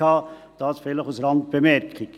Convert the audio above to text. Das vielleicht als Randbemerkung.